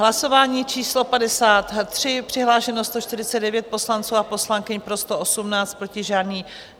Hlasování číslo 53, přihlášeno 149 poslanců a poslankyň, pro 118, proti žádný.